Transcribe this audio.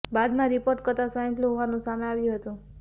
બાદમાં રિપોર્ટ કરતા swine flu હોવાનું સામે આવ્યું હતું